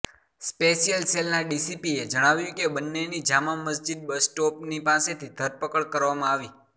special સેલના ડીસીપીએ જણાવ્યું કે બંનેની જામા મસ્જિદ બસ સ્ટોપની પાસેથી ધરપકડ કરવામાં આવી